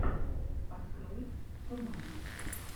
открой томатос